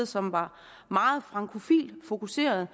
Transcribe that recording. som var meget fokuseret